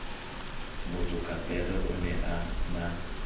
motsokapere o ne a na